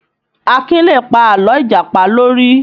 Akin lè pa àlọ́ Ìjàpá lórí